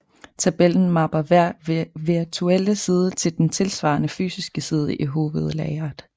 Tabellen mapper hver virtuelle side til den tilsvarende fysiske side i hovedlageret